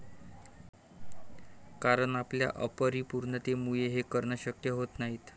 कारण आपल्या अपरिपूर्णतेमुळे हे करणं शक्य होत नाही.